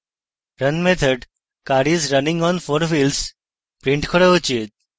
run method car is running on 4 wheels print car উচিত